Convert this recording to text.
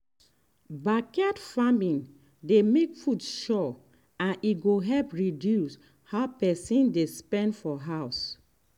backyard farming dey make food sure and e go help reduce how person dey spend for house.